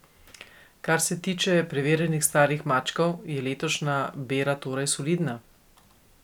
Kar se tiče preverjenih starih mačkov, je letošnja bera torej solidna?